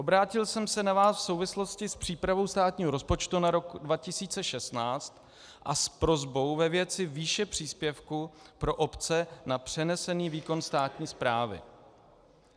Obrátil jsem se na vás v souvislosti s přípravou státního rozpočtu na rok 2016 a s prosbou ve věci výše příspěvku pro obce na přenesený výkon státní správy.